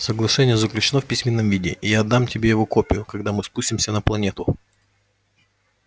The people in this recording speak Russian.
соглашение заключено в письменном виде и я отдам тебе его копию когда мы спустимся на планету